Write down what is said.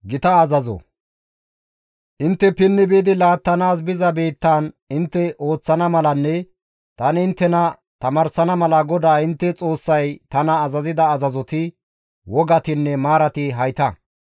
Intte pinni biidi laattanaas biza biittaan intte ooththana malanne tani inttena tamaarsana mala GODAA intte Xoossay tana azazida azazoti, wogatinne maarati hayta.